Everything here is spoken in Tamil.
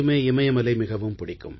இமயமலை மிகவும் பிடிக்கும்